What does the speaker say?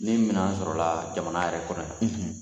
Ni minɛn sɔrɔla jamana yɛrɛ kɔnɔ